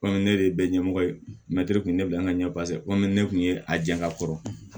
ne de ye bɛɛ ɲɛmɔgɔ ye kun ye ne bila an ka ɲɛ komi ne kun ye a jɛn ka kɔrɔ